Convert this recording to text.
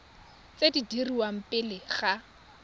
tse di dirwang pele ga